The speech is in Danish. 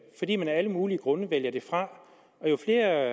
fordi man af alle mulige grunde vælger det fra jo flere